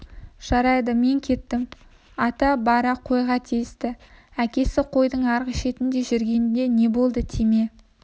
жарайды мен кеттім ата бара қойға тиісті әкесі қойдың арғы шетінде жүрген не болды тиме